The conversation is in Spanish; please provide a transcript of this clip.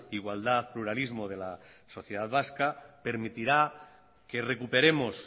igualdad pluralismo de la sociedad vasca permitirá que recuperemos